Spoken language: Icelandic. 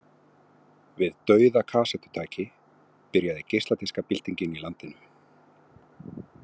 Við dauða kassettutæki byrjaði geisladiskabyltingin í landinu.